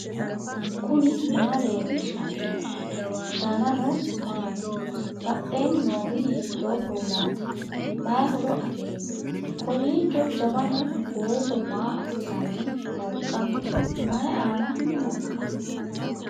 knuni maa leellishanno ? danano maati ? badheenni noori hiitto kuulaati ? mayi horo afirino ? kowiicho jawanu booso maa assanni nooikka mayi aan nooikka